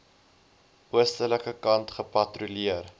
oostelike kant gepatrolleer